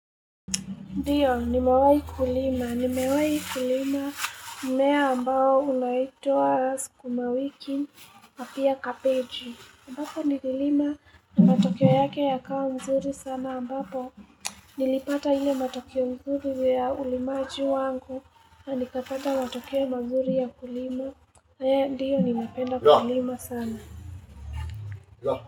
Ndiyo ni mewai kulima, ni mewai kulima mmea ambao unaitwa sukumawiki na pia kabeji ambapo nililima na matokeo yake ya kawa mzuri sana ambapo Nilipata hile matokeo mzuri ya ulimaji wangu na nikapata matokeo mazuri ya kulima Ndiyo ni napenda kulima sana.